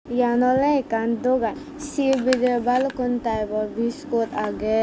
eyan oley ekkan dogan sey bidirey balukkun typo biskut agey is.